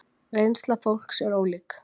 Reynsla fólks er ólík.